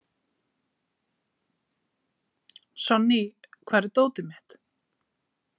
Sonný, hvar er dótið mitt?